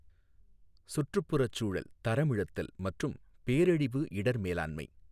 சுற்றுப்புறச் சூழல் தரமிழத்தல் மற்றும் பேரழிவு இடர் மேலாண்மை .